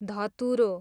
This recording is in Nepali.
धतुरो